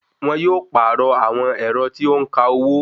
Wọn yóò pàrọ̀ àwọn ẹ̀rọ tí ó ń ka owó